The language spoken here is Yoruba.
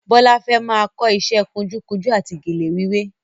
Bọ́lá fẹ́ máa kọ ìṣe kunjúkunjú àti gèlè wíwé